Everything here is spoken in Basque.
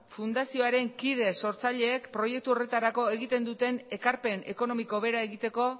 fundazioaren kide sortzaileek proiektu horretarako egiten duten ekarpen ekonomiko bera egiteko